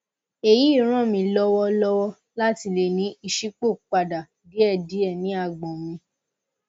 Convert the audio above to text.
èyí ràn mí lọwọ lọwọ láti lè ní ìṣípòpadà díẹ díẹ ní àgbọn mi